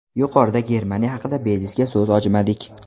Yuqorida Germaniya haqida bejizga so‘z ochmadik.